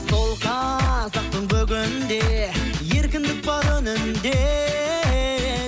сол қазақтың бүгінде еркіндік бар үнінде